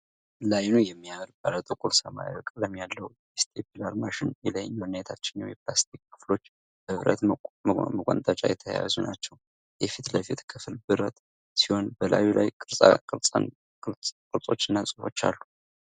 ለአይኑ የሚያምር ባለጥቁር ሰማያዊ ቀለም ያለው የስቴፕለር ማሽን። የላይኛውና የታችኛው የፕላስቲክ ክፍሎች በብረት መቆንጠጫ የተያያዙ ናቸው። የፊት ለፊት ክፍል ብረት ሲሆን፣ በላዩ ላይ ቅርጾችና ጽሑፎች አሉ።